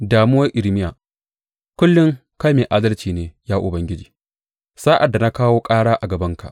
Damuwar Irmiya Kullum kai mai adalci ne, ya Ubangiji, sa’ad da na kawo ƙara a gabanka.